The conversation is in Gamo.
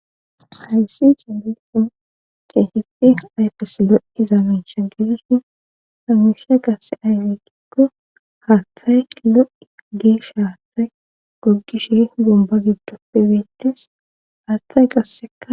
Hayssi xeelikko keehippe ayfes lo7iza miisha gedeesi ha muiihay qasse ayfekikko haaththay lo7i geesha haathay goggishe gomba giddo pe bettes haaththay qasseka